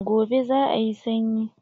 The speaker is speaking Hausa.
Gobe za a yi sanyi.